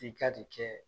I ka de kɛ